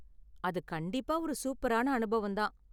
அது கண்டிப்பா ஒரு சூப்பரான அனுபவம் தான்.